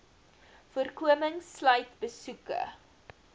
voorkoming sluit besoeke